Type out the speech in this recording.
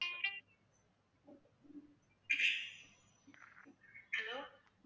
hello